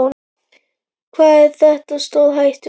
Hvað er þetta stórhættulegt?